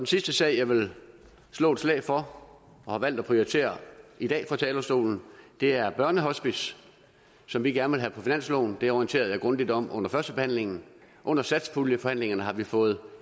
sidste sag jeg vil slå et slag for og har valgt at prioritere i dag fra talerstolen er børnehospicer som vi gerne vil have på finansloven det orienterede jeg grundigt om under førstebehandlingen under satspuljeforhandlingerne har vi fået